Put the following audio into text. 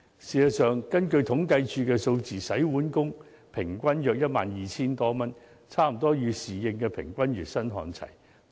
事實上，根據統計處的數字，洗碗工平均月薪約 12,000 多元，與侍應的平均月薪差不多看齊。